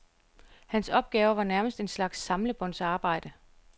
Hans opgaver var nærmest en slags samlebåndsarbejde.